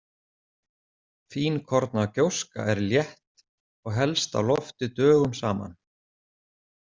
Fínkorna gjóska er létt og helst á lofti dögum saman.